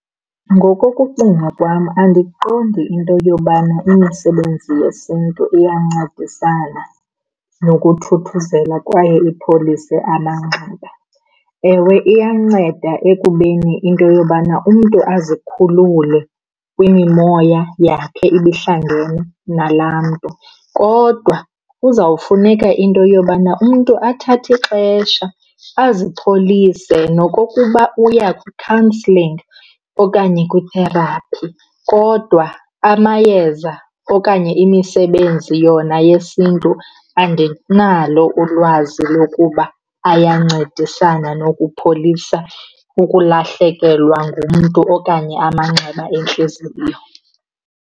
Ngokokucinga kwam, andiqondi into yobana imisebenzi yesiNtu iyancedisana nokuthuthuzelwa kwaye ipholise amanxeba. Ewe, iyanceda ekubeni into yobana umntu azikhulule kwimimoya yakhe ibihlangene nalaa mntu, kodwa kuzawufuneka into yobana umntu athathe ixesha azipholise nokokuba uya kwi-counselling okanye kwi-therapy. Kodwa amayeza okanye imisebenzi yona yesiNtu andinalo ulwazi lokuba ayancedisana nokupholisa ukulahlekelwa ngumntu okanye amanxeba entliziyo.